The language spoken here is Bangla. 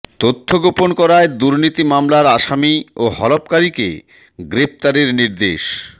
তথ্য গোপন করায় দুর্নীতি মামলার আসামি ও হলফকারীকে গ্রেফতারের নির্দেশ